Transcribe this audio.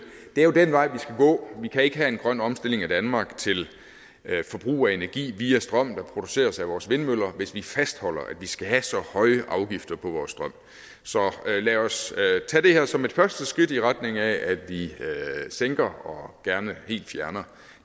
det er jo den vej vi skal gå vi kan ikke have en grøn omstilling af danmark til forbrug af energi via strøm der produceres af vores vindmøller hvis vi fastholder at vi skal have så høje afgifter på vores strøm så lad os tage det her som et første skridt i retning af at vi sænker og gerne helt fjerner